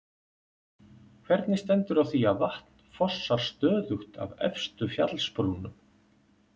Hvernig stendur á því að vatn fossar stöðugt af efstu fjallsbrúnum?